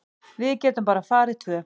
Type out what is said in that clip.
Við getum bara farið tvö.